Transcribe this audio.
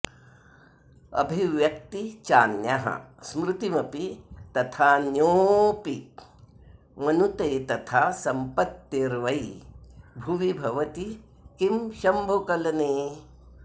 अभिव्यक्ती चान्यः स्मृतिमपि तथाऽन्योऽपि मनुते तथा सम्पत्तिर्वै भुवि भवति किं शंभुकलने